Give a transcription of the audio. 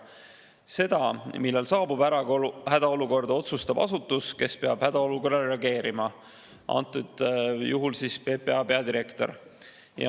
Seda, millal on saabunud hädaolukord, otsustab asutus, kes peab hädaolukorrale reageerima, antud juhul PPA peadirektor.